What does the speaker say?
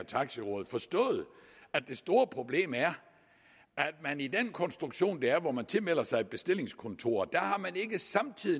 taxi råd forstået at det store problem er at man i den konstruktion der er hvor man tilmelder sig et bestillingskontor ikke samtidig